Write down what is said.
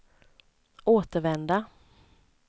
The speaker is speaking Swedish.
återvända